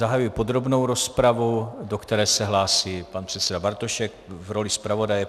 Zahajuji podrobnou rozpravu, do které se hlásí pan předseda Bartošek v roli zpravodaje.